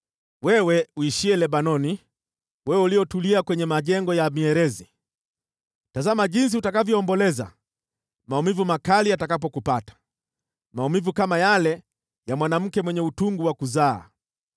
Wewe uishiye Lebanoni, wewe uliyetulia kwenye majengo ya mierezi, tazama jinsi utakavyoomboleza maumivu makali yatakapokupata, maumivu kama yale ya mwanamke mwenye utungu wa kuzaa!